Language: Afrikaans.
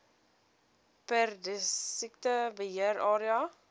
perdesiekte beheer area